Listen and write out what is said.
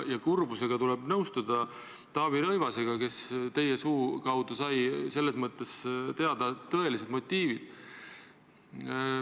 Kurbusega tuleb nõustuda Taavi Rõivasega, kes teie suu kaudu sai teada tõelised motiivid.